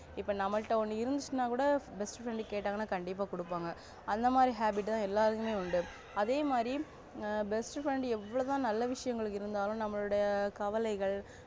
இப்ப நம்மள்ட ஒன்னு இருந்துச்சினா கூட best friend கேட்டா கண்டிப்பா கொடுப்பாங்க அந்த மாதிரியும் habit எல்லாருக்கும் உண்டு அதே மாதிரி best friend எவ்ளோதா நல்ல விஷயங்கள் இருந்தாலும் நம்மலுடைய கவலைகள்